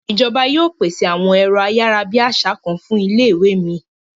Ìjọba yóò pèsè àwọn èrọ ayárabíàṣá kan fún ilé ìwé mi.